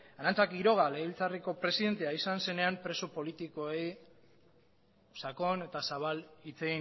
arantza quiroga legebiltzarreko presidentea izan zenean preso politikoei sakon eta zabal hitz